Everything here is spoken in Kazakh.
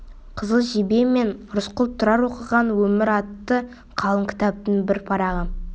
қызыл жебе мен рысқұл тұрар оқыған өмір атты қалың кітаптың бір парағы